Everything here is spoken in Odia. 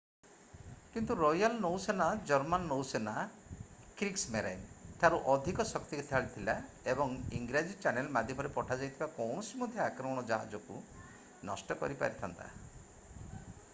କିନ୍ତୁ ରୟାଲ୍ ନୌସେନା ଜର୍ମାନ ନୌସେନା କ୍ରିଗ୍ସମେରାଇନ୍” ଠାରୁ ଅଧିକ ଶକ୍ତିଶାଳୀ ଥିଲା ଏବଂ ଇଂରାଜୀ ଚ୍ୟାନେଲ ମାଧ୍ୟମରେ ପଠାଯାଇଥିବା କୌଣସି ମଧ୍ୟ ଆକ୍ରମଣ ଜାହାଜକୁ ନଷ୍ଟ କରିପାରିଥାନ୍ତା ।